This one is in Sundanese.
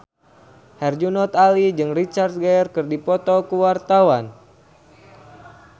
Herjunot Ali jeung Richard Gere keur dipoto ku wartawan